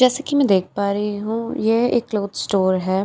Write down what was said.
जैसे की मैं देख पा रही हूँ ये एक क्लोथ स्टोर हैं जॉकी --